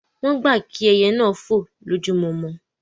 Wọ́n gbà kí ẹyẹ náà fò lójojúmọ̀